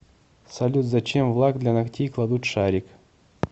салют зачем в лак для ногтей кладут шарик